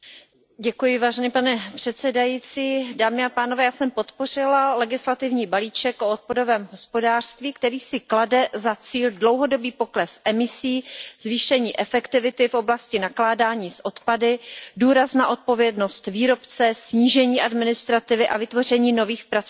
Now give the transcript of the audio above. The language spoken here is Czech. Pane předsedající, já jsem podpořila legislativní balíček o odpadovém hospodářství, který si klade za cíl dlouhodobý pokles emisí, zvýšení efektivity v oblasti nakládání s odpady, důraz na odpovědnost výrobce, snížení administrativy a vytvoření nových pracovních míst.